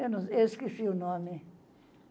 Eu não, eu Esqueci o nome.